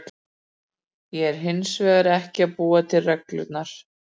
Ég er hins vegar ekki að búa til reglurnar.